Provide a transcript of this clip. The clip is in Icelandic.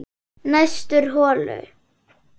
Næstur holu